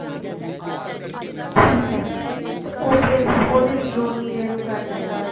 ਠੀਕ ਏ ਤੇ ਉਹ ਫੇਰ ਉਹਦੇ ਵਿੱਚੋ ਉੰਨੀ ਦੇਰ ਉਹ ਕਰਲੇਗਾ